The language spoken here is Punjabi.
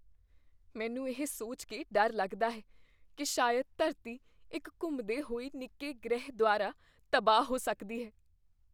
ਮੈਨੂੰ ਇਹ ਸੋਚ ਕੇ ਡਰ ਲੱਗਦਾ ਹੈ ਕੀ ਸ਼ਾਇਦ ਧਰਤੀ ਇੱਕ ਘੁੰਮਦੇ ਹੋਏ ਨਿੱਕੇ ਗ੍ਰਹਿ ਦੁਆਰਾ ਤਬਾਹ ਹੋ ਸਕਦੀ ਹੈ।